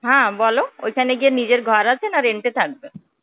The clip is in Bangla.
হ্যাঁ, বলো ঐখানে গিয়ে নিজের ঘর আছে না rent এ থাকবে?